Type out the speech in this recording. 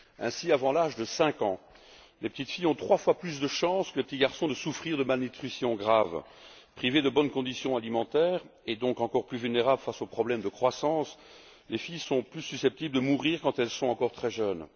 Ainsi, avant l'âge de cinq ans, les petites filles ont trois fois plus de risques que les petits garçons de souffrir de malnutrition grave. Privées de bonnes conditions alimentaires et donc encore plus vulnérables face aux problèmes de croissance, les filles sont plus susceptibles de mourir quand elles sont encore très jeunes.